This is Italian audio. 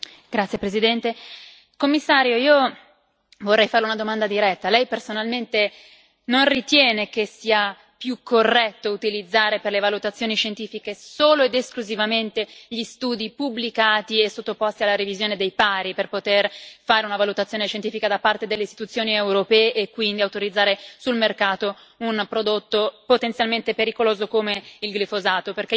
Signor Presidente, onorevoli colleghi, signor Commissario, io vorrei farle una domanda diretta lei personalmente non ritiene che sia più corretto utilizzare per le valutazioni scientifiche solo ed esclusivamente gli studi pubblicati e sottoposti alla revisione dei pari, per poter fare una valutazione scientifica da parte delle istituzioni europee e quindi autorizzare sul mercato un prodotto potenzialmente pericoloso come il glifosato?